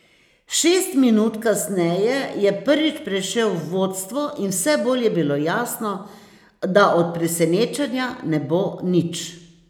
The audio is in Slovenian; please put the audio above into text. Šest minut kasneje je prvič prešel v vodstvo in vse bolj je bilo jasno, da od presenečenja ne bo nič.